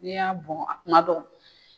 N'i y'a bɔn a kuma dɔ